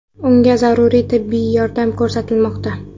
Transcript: Unga zaruriy tibbiy yordam ko‘rsatilmoqda.